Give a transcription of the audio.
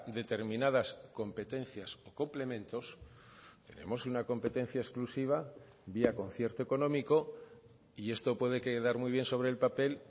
determinadas competencias o complementos tenemos una competencia exclusiva vía concierto económico y esto puede quedar muy bien sobre el papel